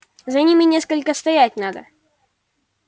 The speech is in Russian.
за ними сколько стоять надо